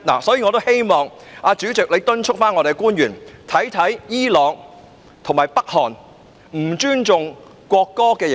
我也希望主席敦促我們的官員檢視伊朗及北韓對不尊重國歌的刑罰。